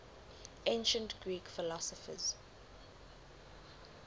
ancient greek philosophers